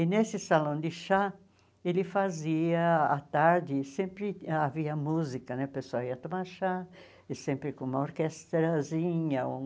E nesse salão de chá, ele fazia à tarde, sempre havia música né, o pessoal ia tomar chá, e sempre com uma orquestrazinha um.